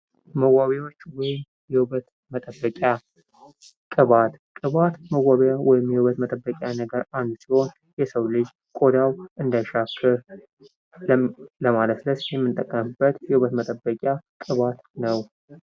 መዋቢያዎች ወይም የውበት መጠበቂያ ቅባት ቅባት መዋቢያ ወይም የውበት መጠበቂያ ነገር አንዱ ሲሆን የሰው ልጅ ቆዳው እንዳይሻክር ለማለስለስ የምንጠቀምበት የውበት መጠበቂያ ቅባት ነው።